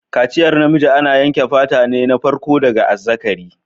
Kaciyar namiji ana yanke fata na farko daga azzakari.